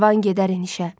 Karvan gedər enişə.